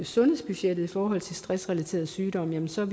sundhedsbudgettet i forhold til stressrelaterede sygdomme ser